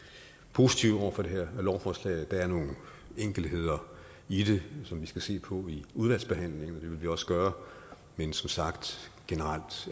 positive over for det her lovforslag der er nogle enkeltheder i det som vi skal se på i udvalgsbehandlingen vil vi også gøre men som sagt